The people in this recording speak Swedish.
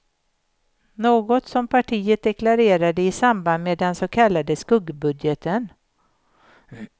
Något som partiet deklarerade i samband med den så kallade skuggbudgeten.